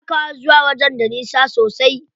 Takawa zuwa wajen da nisa sosai.